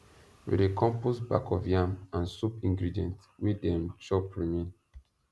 we dey compost back of yam and soup ingredient wey dem chop remain